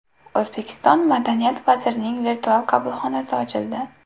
O‘zbekiston madaniyat vazirining virtual qabulxonasi ochildi.